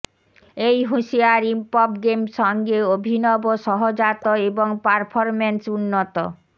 এই হুঁশিয়ার ইমপভ গেম সঙ্গে অভিনব সহজাত এবং পারফরম্যান্স উন্নত